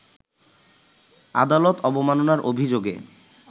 আদালত অবমাননার অভিযোগে